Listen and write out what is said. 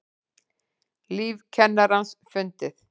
Lík kennarans fundið